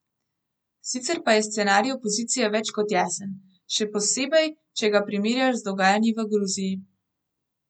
Sicer pa je scenarij opozicije več kot jasen, še posebej, če ga primerjaš z dogajanji v Gruziji.